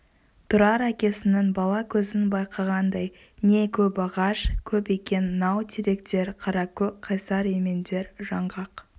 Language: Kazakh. тұрар әкесінің бала көзін байқағандай не көп ағаш көп екен нау теректер қаракөк қайсар емендер жаңғақ